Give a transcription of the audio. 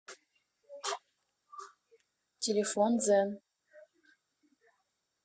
телефон дзен